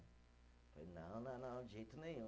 Não, não, não, de jeito nenhum.